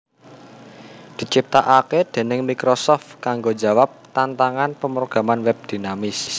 diciptakake déning Microsoft kanggo njawab tantangan pemrograman web dinamis